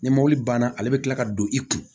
Ni mɔbili banna ale be kila ka don i kun